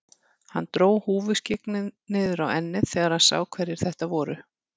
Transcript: Hann dró húfuskyggnið niður á ennið þegar hann sá hverjir þetta voru.